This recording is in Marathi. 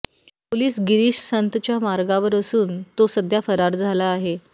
पोलीस गिरीश संतच्या मागावर असून तो सध्या फरार झाला आहे